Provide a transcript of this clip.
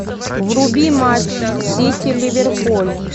вруби матч сити ливерпуль